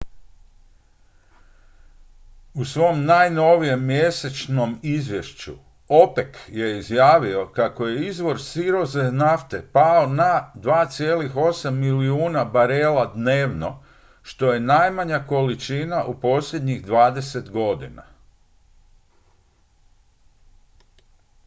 u svom najnovijem mjesečnom izvješću opec je objavio kako je izvoz sirove nafte pao na 2,8 milijuna barela dnevno što je najmanja količina u posljednjih dvadeset godina